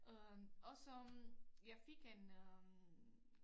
Øh også jeg fik en øh